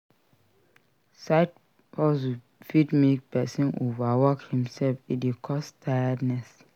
Side hustle fit make persin over work himself e de cause tiredness